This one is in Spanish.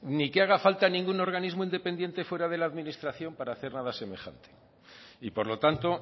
ni que haga falta ningún organismo independiente fuera de la administración para hacer nada semejante y por lo tanto